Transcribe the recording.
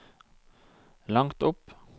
langt opp